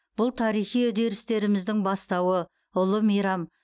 бұл тарихи үдерістеріміздің бастауы ұлы мейрам